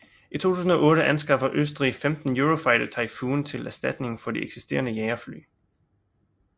I 2008 anskaffer Østrig 15 Eurofighter Typhoon til erstatning for de eksisterende jagerfly